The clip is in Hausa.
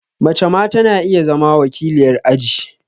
Mace ma ta na iya zama wakiliyar aji